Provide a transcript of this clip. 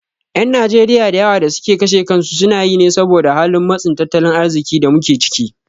Ƴan Najeriya da yawa da suke kashe kansu sunayi ne saboda halin matsin tattalin arziƙin da muke ciki.